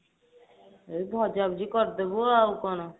ଏଇ ଭଜା ଭଜି କରିଦେବୁ ଆଉ କଣ